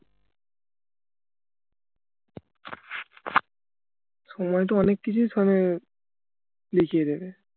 সময় তো অনেক কিছুই দেখিয়ে দেবে